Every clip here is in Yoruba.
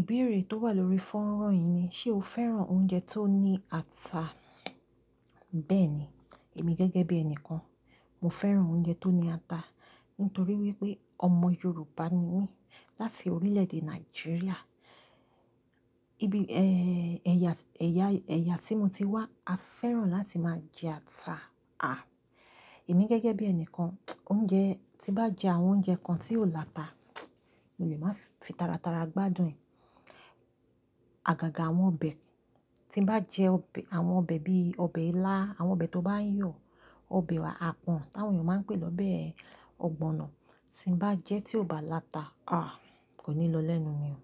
Ìbéèrè tó wà lórí fọ́nrán yìí ni, ṣe o fẹ́ràn oúnjẹ tó ní ata? Bẹ́ẹ̀ni, èmi gẹ́gẹ́ bí ẹni kan, mo fẹ́ràn oúnjẹ tó ní ata. Nítorí wípé ọmọ Yorùbá ni mí láti orílẹ̀ èdè Nàìjíríà. Ibi, ẹ̀ya, ẹ̀ya, ẹ̀ya tí mo ti wá, a fẹ́ràn láti máa jẹ ata. Èmi gẹ́gẹ́ bí ẹni kan, oúnjẹ, tí bá jẹ àwọn oúnjẹ kan tí ò láta, mo lè máa fi tara tara gbádùn ẹ̀. Àgàgà àwọn ọbẹ̀, tí bá jẹ ọbẹ, àwọn ọbẹ̀ bí i ọbẹ̀ ilá, àwọn ọbẹ̀ tó bá ń yọ̀, ọbẹ̀ àpọ̀n táwọn èèyàn máa ń pè lọ́ bẹ ọ̀gbọ̀nọ̀, tí n bá jẹ tí ò bá láta, kò ní lọ lẹ́nu mi o.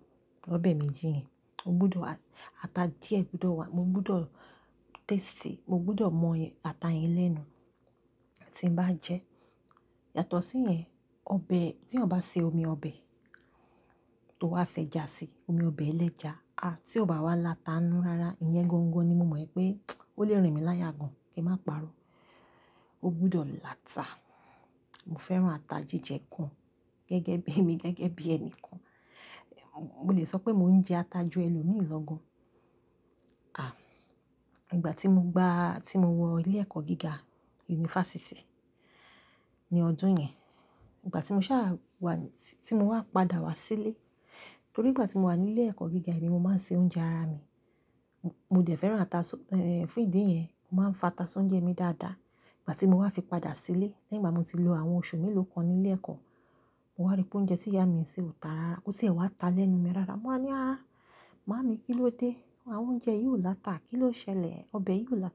Ọbẹ̀ méjì yẹn, o gbúdọ̀, ata díẹ̀ gbúdọ̀ wà. Mo gbúdọ̀ taste, mo gbúdọ̀ mọ ata yẹn lẹ́nu tí n bá jẹ. Yàtọ̀ sí yẹn, ọbẹ̀, tí ó bá ṣe omi ọbẹ̀ tó wá fẹ́ jà sí, omi ọbẹ̀ ẹlẹ́ja, tí ò bá wá láta inú rárá, ìyẹn gangan ni mo mọ̀ pé ó lè rìn mí láyà gan. Kí n máa paro, o gbúdọ̀ láta. Mo fẹ́ràn ata jíjẹ gan. Gẹ́gẹ́ bí, èmi gẹ́gẹ́ bí ẹni kan, mo lè sọ pé mò ń jẹ ata ju ẹlòmíì lọ gan. Ìgbà tí mo gbá, tí mo wọ ilé ẹ̀kọ́ gíga, yunifásítì, ní ọdún yẹn, ìgbà tí mo sá wá, tí mo wá padà wá sílé, torí ìgbà tí mo wà nílé ẹ̀kọ́ gíga, èmi mo máa ń ṣe oúnjẹ ara mi. Mo dẹ fẹ́ràn ata, fún ìdí yẹn, mo máa ń fa ata si oúnjẹ mi dáadáa. Ìgbà tí mo wá fi padà sílé, lẹ́yìn ìgbà tí mo ti lo àwọn oṣù mélòó kan nílé ẹ̀kọ́, mo wá rí pé oúnjẹ tí ìyá mi ń ṣe ò tà ráárá. Kò tì ẹ̀ wá ta lẹ́nu mi rárá. Mo wáa ní, "Áà! Màmá mi, kíló dé? Àwọn oúnjẹ yìí ò láta. Kí ló ṣẹlẹ̀? Ọbẹ̀ yìí ò la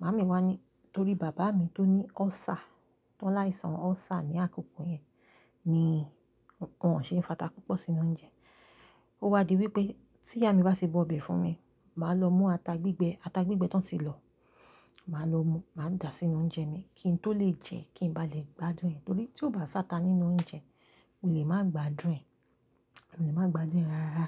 "Màmá mi wá ní, torí bàbá mi tó ní ulcer, tó láìsàn ulcer ní àkókò yẹn, ni won ṣèé ń fa ata púpọ̀ sínú oúnjẹ. Ó wá di wípé tí ìyá mi bá ṣe bọ̀ ọbẹ̀ fún mi, màá lọ mú ata gbígbẹ, ata gbígbẹ tó ń ti lọ, màá lọ mú, màá dàá sínú oúnjẹ mi kí n tó lè jẹ, kí n ba lè gbádùn ẹ̀. Torí tí ó bá sáta nínú oúnjẹ, mo lè máa gbádùn ẹ̀, mo lè máa gbádùn ẹ̀ rárá.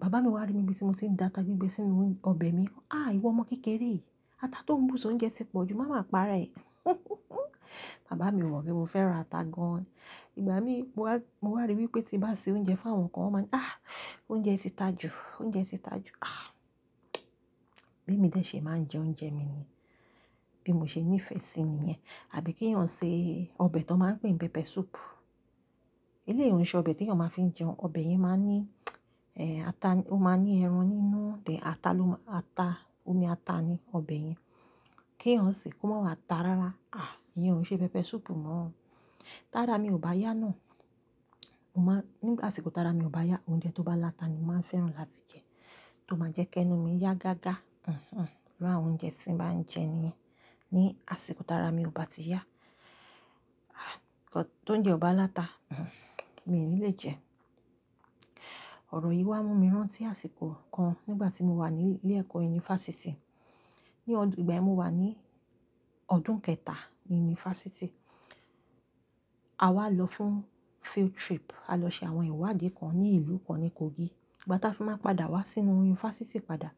Bàbá mi wá rí mi bí tí mo ti dà ata gbígbẹ sínú ọbẹ̀ mi. "Áà! Iwo ọmọ kékeré. Ata tó ń bù sí oúnjẹ ti pọ̀ jù. Máa máa pa rẹ." Bàbá mi mọ pé mo fẹ́ràn ata gan. Ìgbà mí mo wá, mo wá rí wípé tí bá ṣe oúnjẹ fún àwọn kan, wón máa ní, "Áà! Oúnjẹ ti ta jù. Oúnjẹ ti ta jù. Bí emi dé ṣe máa ń jẹ oúnjẹ mi ni. Bí mo ṣe nífẹ̀ẹ́ sí i ni yẹn. Àbí kí èèyàn ṣe ọbẹ̀ tó máa ń pè pé pepper soup. Ilé yi o n ṣe ọbẹ̀ tí èèyàn máa fi ń jẹun. Ọbẹ̀ yẹn máa ní, ata, ó máa ní ẹran nínú, ata ló máa, ata, omi ata ni ọbẹ̀ yẹn. Kí èèyàn ṣe kó máa wá ta ráárá. Ah, ìyẹn ò ṣe pepper soup mọ́ o. Tára mi ò bá yá ná. Mo máa, nígbà tí asiko tára mi ò bá yá, oúnjẹ tó bá láta ni mo máa ń fẹ́ràn láti jẹ tó máa jẹ́ kí ẹnu mi yá gágá. Irú àwọn oúnjẹ tí n bá ń jẹ ni yẹn. Ni àsìkò tára mi ò bá ti yá, k ọ, tó ń jẹ ọba láta, mi ò ní lè jẹ. Ọ̀rọ̀ yìí wá mú mi rántí àsìkò kan nígbà tí mo wà ní ilé ẹ̀kọ́ yunifásítì. Ní ọdún, ìgbà tí mo wà ní ọdún kẹta ní yunifásítì, a wá lọ fún field trip. A lọ ṣe àwọn ìwádìí kan ní ìlú kan ní Kogi. Ìgbà táa fi máa padà wá sínú yunifásítì padà,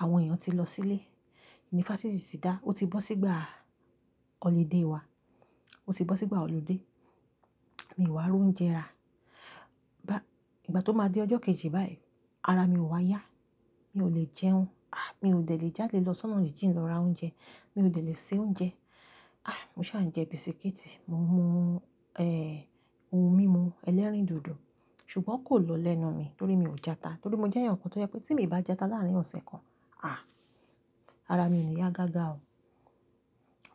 àwọn èèyàn ti lọ sílé. Yunifásítì ti dà. Ó ti bọ́ sí ìgbà holiday wa. Ó ti bọ́ sí ìgbà holiday. Mi ò wá ro oúnjẹ ra. Ìgbà tó máa di ọjọ́ kejì báyìí, ara mi ò wá yá. Mi ò lè jẹun. Mi ò dẹ̀ lè jáde lọ sọ́nà jíjìn lọ ra oúnjẹ. Mi ò dẹ̀ lè ṣe oúnjẹ. Mo sá ń jẹ bisikíìtì, mò ń mú, ohun mímu ẹlẹ́rìndòdò. Ṣùgbọ́n kò lọ lẹ́nu mi torí mi ò jẹ ata. Torí mo jẹ́ èèyàn kan tó jẹ́ pé tí mo ì bá jẹ ata láàárín ọ̀sẹ̀ kan, ara mi ò ní yá gágá o.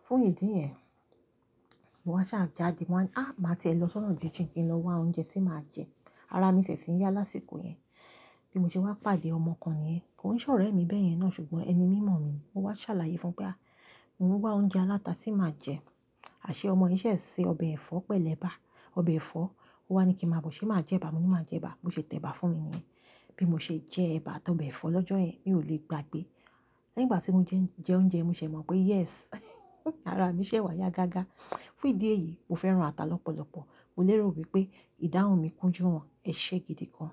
Fún ìdí yẹn, mo wá sá jáde, mo wá ni, "Áà! Màá ti lọ sọ́nà jíjìn kí n lọ wá oúnjẹ tí màá jẹ." Ara mi sì ti ń yá lásìkò yẹn. Bí mo ṣe wá pàdé ọmọ kan níyẹn. Kò ní ṣọ̀rẹ́ mi bẹ́ẹ̀ yẹn ná, ṣùgbọ́n ẹni mímọ̀ mi. Mo wá ṣàlàyé fún un pé, mo ń wá oúnjẹ aláta tí màá jẹ." Aṣé ọmọ yẹn ṣẹ̀ ṣe ọbẹ̀ ẹ̀fọ́ pẹ̀lẹ́ ẹ̀bà, ọbẹ̀ ẹ̀fọ́. Ó wá ní kí mo máa bọ̀ ṣé màá jẹ ẹ̀bà. Mo ní màá jẹ ẹ̀bà. Mo ṣe tẹ ẹ̀bà fún mi níyẹn. Bí mo ṣe jẹ ẹ̀bà àti ọbẹ̀ ẹ̀fọ́ lọ́jọ́ yẹn, mi ò lè gbàgbé. Lẹ́yìn ìgbà tí mo jẹ, jẹ oúnjẹ, mo sì mọ̀ pé yes, ara mi ṣẹ̀ wá yá gágá. Fún ìdí èyí, mo fẹ́ràn ata lọ́pọ̀lọpọ̀. Mo lérò wípé ìdáhùn mi kún ju won, ẹ̀ṣẹ gidi kan.